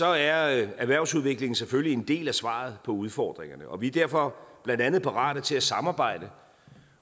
er erhvervsudviklingen selvfølgelig en del af svaret på udfordringerne og vi er derfor blandt andet parate til at samarbejde